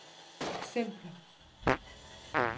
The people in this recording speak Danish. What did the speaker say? eksempler